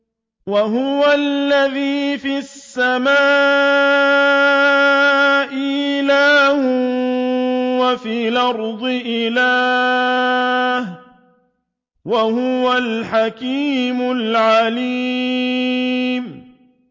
وَهُوَ الَّذِي فِي السَّمَاءِ إِلَٰهٌ وَفِي الْأَرْضِ إِلَٰهٌ ۚ وَهُوَ الْحَكِيمُ الْعَلِيمُ